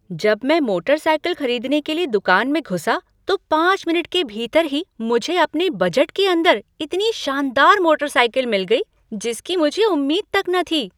जब मैं मोटरसाइकिल खरीदने के लिए दुकान में घुसा तो पाँच मिनट के भीतर ही मुझे अपने बजट के अंदर इतनी शानदार मोटरसाइकिल मिल गई जिसकी मुझे उम्मीद तक न थी!